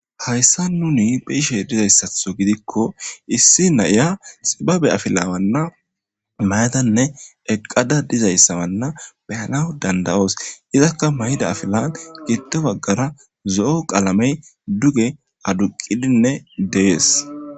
Hayisayan nuni beishe dizayisato gidiko issi na,ya xibabe afila mayadene eqada dizayisa beyanaw dandayos izaka ma,iza afilan gido bagara zo,o qalame duge aduqidi de,ees